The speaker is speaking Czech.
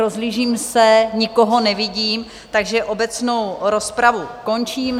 Rozhlížím se, nikoho nevidím, takže obecnou rozpravu končím.